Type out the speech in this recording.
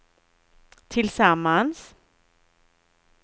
tillsammans